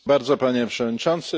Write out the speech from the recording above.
Panie Przewodniczący!